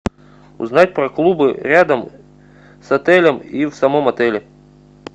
узнать про клубы рядом с отелем и в самом отеле